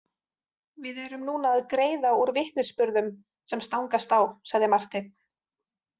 Við erum núna að greiða úr vitnisburðum sem stangast á, sagði Marteinn.